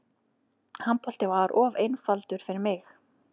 Handbolti var of einfaldur fyrir mig.